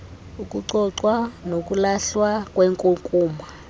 ukucocwa nokulahlwa kwenkunkuma